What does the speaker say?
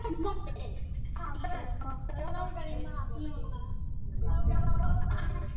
Svo fátt eitt sé nefnt.